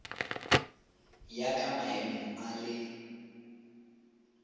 ya ka maemo a le